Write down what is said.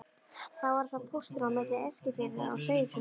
Þá var það pósturinn á milli Eskifjarðar og Seyðisfjarðar.